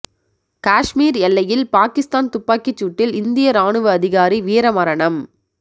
காஷ்மீர் எல்லையில் பாகிஸ்தான் துப்பாக்கிச் சூட்டில் இந்திய ராணுவ அதிகாரி வீரமரணம்